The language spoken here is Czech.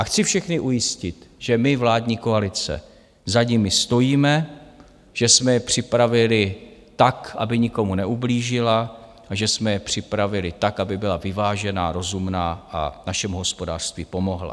A chci všechny ujistit, že my, vládní koalice, za nimi stojíme, že jsme je připravili tak, aby nikomu neublížila a že jsme je připravili tak, aby byla vyvážená, rozumná a našemu hospodářství pomohla.